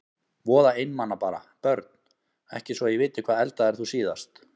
Voða einmana bara Börn: Ekki svo ég viti Hvað eldaðir þú síðast?